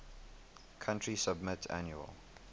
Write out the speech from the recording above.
country submit annual